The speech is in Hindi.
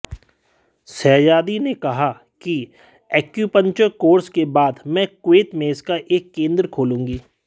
शहजादी ने कहा कि एक्यूपंक्चर कोर्स के बाद मैं कुवैत में इसका एक केंद्र खोलूंगी